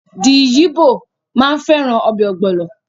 The yibo maa n feran obe ogbolo